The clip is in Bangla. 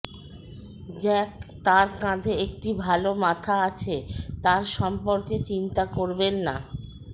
জ্যাক তার কাঁধে একটি ভাল মাথা আছে তার সম্পর্কে চিন্তা করবেন না